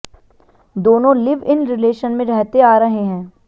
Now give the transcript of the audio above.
दोनों live in relation में रहते आ रहे हैं